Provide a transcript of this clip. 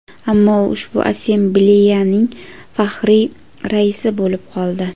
ammo u ushbu assambleyaning faxriy raisi bo‘lib qoldi.